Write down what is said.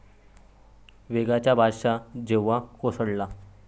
वेगाचा बादशाह जेव्हा कोसळला